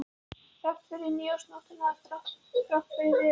Þrátt fyrir nýársnóttina, þrátt fyrir Viðar.